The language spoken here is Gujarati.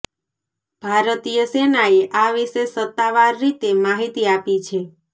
ભારતીય સેનાએ આ વિશે સત્તાવાર રીતે માહિતી આપી છે